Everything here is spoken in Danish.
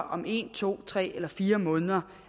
om en to tre eller fire måneder